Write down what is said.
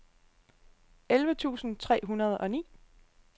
elleve tusind tre hundrede og ni